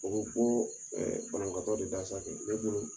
O bɛ bɔ ɛ banabagatɔ de da sa kɛ ne bolo